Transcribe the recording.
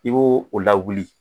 I b'o o lawuli